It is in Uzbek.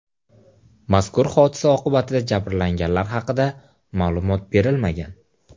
Mazkur hodisa oqibatida jabrlanganlar haqida ma’lumot berilmagan.